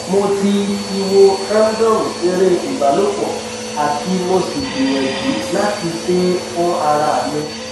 mo ti ti wo femdome ere ibalopo ati mo si gbiyanju lati se e fun ara mi